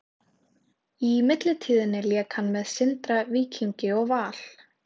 Í millitíðinni lék hann með Sindra, Víkingi og Val.